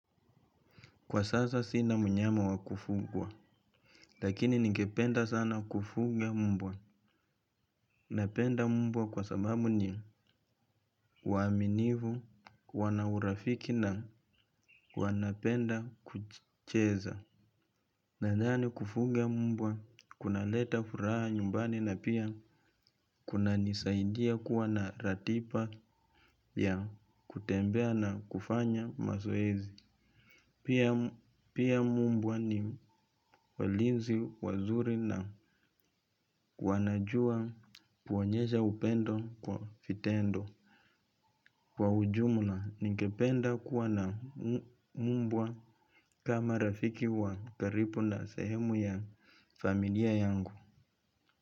Kwa sasa sina mnyama wa kufugwa, lakini ningependa sana kufuga mbwa. Napenda mbwa kwa sababu ni waaminifu, wana urafiki na wanapenda kucheza. Nadhani kufuga mbwa, kunaleta furaha nyumbani na pia kunanisaidia kuwa na ratiba ya kutembea na kufanya mazoezi. Pia mbwa ni walinzi, wazuri na wanajua kuonyesha upendo kwa vitendo. Kwa ujumla, ningependa kuwa na mbwa kama rafiki wa karibu na sehemu ya familia yangu.